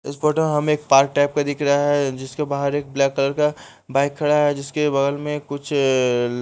इस फोटो में हमें एक पार्क टाइप का दिख रहा है जिसके बाहर एक ब्लैक कलर का बाइक खड़ा है जिसके बगल में कुछ --